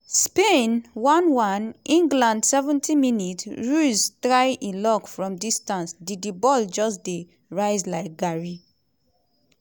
spain 1-1 england 70 mins - ruiz try e luck from distance di di ball just dey rise like garri.